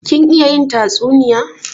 Kin iya yin tatsuniya?